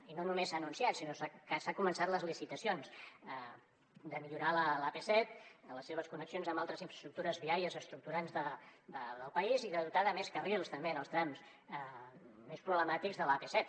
i no només s’han anunciat sinó que s’han començat les licitacions per millorar l’ap set en les seves connexions amb altres infraestructures viàries estructurants del país i de dotar de més carrils també en els trams més problemàtics l’ap set